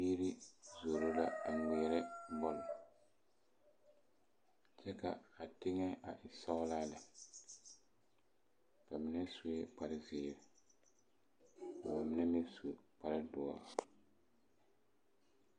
Biiri zoro la a ŋmeɛrɛ bɔl kyɛ ka a teŋa a e sɔgelaa lɛ ba mine sue kpar zeere ka ba mine meŋ su kpar doɔre